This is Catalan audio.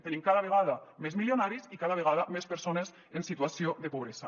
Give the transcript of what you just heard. tenim cada vegada més milionaris i cada vegada més persones en situació de pobresa